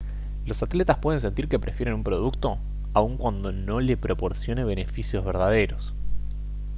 los atletas pueden sentir que prefieren un producto aun cuando no le proporcione beneficios verdaderos